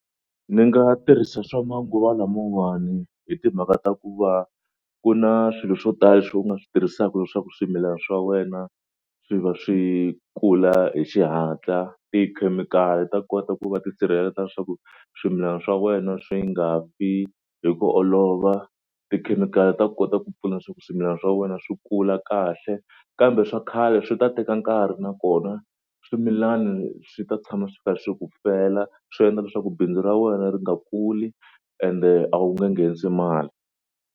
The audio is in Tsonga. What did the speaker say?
Ni nga tirhisa swa manguva lamawani hi timhaka ta ku va ku na swilo swo tala swo u nga swi tirhisaka leswaku swimilana swa wena swi va swi kula hi xihatla. Tikhemikhali ta kota ku va ti sirheleta swa ku swimilana swa wena swi nga fi hi ku olova. Tikhemikhali ta kota ku pfuna swa ku swimilana swa wena swi kula kahle kambe swa khale swi ta teka nkarhi nakona swimilani swi ta tshama swi kha swi ku fela swi endla leswaku bindzu ra wena ri nga kuli ende a wu nge nghenisi mali.